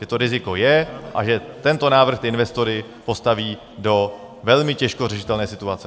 Že to riziko je a že tento návrh ty investory postaví do velmi těžko řešitelné situace.